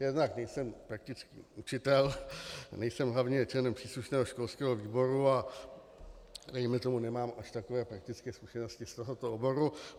Jednak nejsem praktický učitel, nejsem hlavně členem příslušného školského výboru a dejme tomu nemám až takové praktické zkušenosti z tohoto oboru.